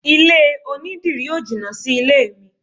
Ilé onidírì ó jìnà sí ilé mi.